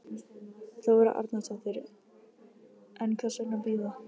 Þóra Arnórsdóttir: En hvers vegna bíða?